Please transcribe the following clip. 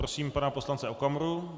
Prosím pana poslance Okamuru.